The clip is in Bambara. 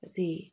Paseke